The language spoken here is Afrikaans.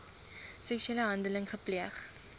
seksuele handeling gepleeg